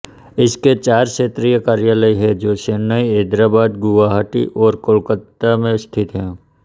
इसके चार क्षेत्रीय कार्यालय हैं जो चैन्नई हैदराबाद गुवाहाटी और कोलकाता में स्थित हैं